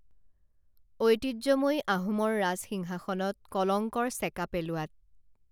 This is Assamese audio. ঐতিহ্যময়ী আহোমৰ ৰাজসিংহাসনত কলংকৰ চেকা পেলোৱাত